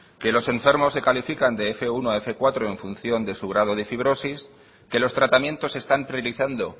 que los enfermos se califican de fmenos uno a fmenos cuatro en función de su grado de fibrosis que los tratamientos están priorizando